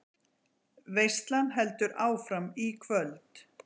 Veislan heldur áfram í kvöld